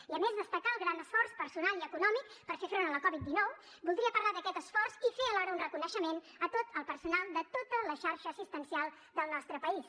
i a més de destacar el gran esforç personal i econòmic per fer front a la covid dinou voldria parlar d’aquest esforç i fer alhora un reconeixement a tot el personal de tota la xarxa assistencial del nostre país